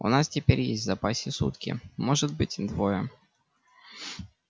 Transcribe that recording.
у нас теперь есть в запасе сутки может быть двое